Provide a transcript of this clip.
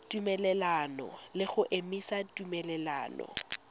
tumelelano le go emisa tumelelano